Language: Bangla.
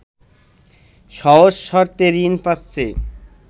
সহজ শর্তে ঋণ পাচ্ছে